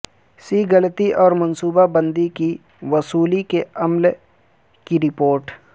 سی غلطی اور منصوبہ بندی کی وصولی کے عمل کی رپورٹ